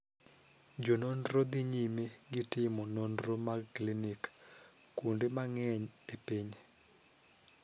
Jononro dhi nyime gi timo nonro mag klinik kuonde mangeny e piny.